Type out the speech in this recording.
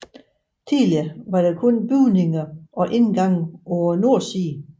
Tidligere var der kun bygninger og indgange på nordsiden